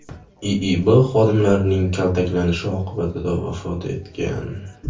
IIB xodimlarining kaltaklashi oqibatida vafot etgan.